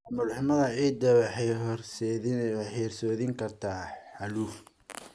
Maamul xumada ciidda waxay horseedi kartaa xaaluf.